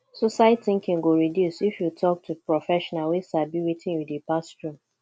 suicide tinking go reduce if yu tok to professional wey sabi wetin yu dey pass thru